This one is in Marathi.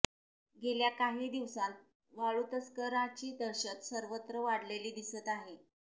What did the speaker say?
गेल्या काही दिवसांत वाळुतस्करांची दहशत सर्वत्र वाढलेली दिसत आहे